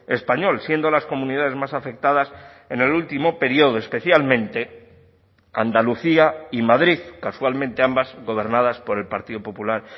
español siendo las comunidades más afectadas en el último periodo especialmente andalucía y madrid casualmente ambas gobernadas por el partido popular